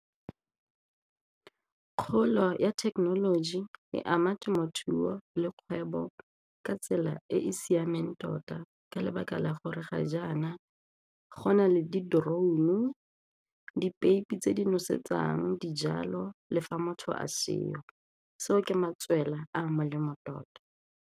Kgolo ya thekenoloji e ama temothuo le kgwebo ka tsela e e siameng tota ka lebaka la gore ga jaana go na le di-drone-u, dipeipi tse di nosetsang dijalo le fa motho a seo, seo ke matswela a a molemo tota.